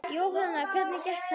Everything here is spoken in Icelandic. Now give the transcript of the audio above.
Jóhann: Hvernig gekk þetta?